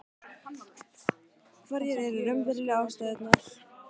Hverjar eru raunverulegu ástæðurnar?